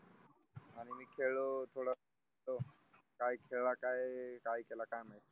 मी खेळों थोडा काय खेळा काय काय केला काय माहित